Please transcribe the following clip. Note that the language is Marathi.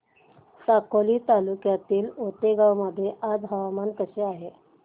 साकोली तालुक्यातील आतेगाव मध्ये आज हवामान कसे आहे